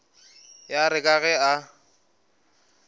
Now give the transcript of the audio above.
ya re ka ge e